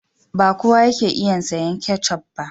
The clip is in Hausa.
Ba kowa yake iya sayen ketchup ba.